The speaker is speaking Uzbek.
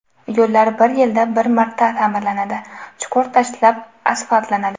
Yo‘llar bir yilda bir marta ta’mirlanadi, chuqur tashlab asfaltlanadi.